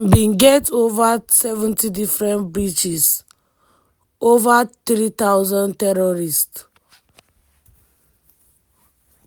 "dem bin get ova 70 different breaches ova 3000 terrorists